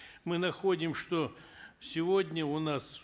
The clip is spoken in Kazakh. мы находим что сегодня у нас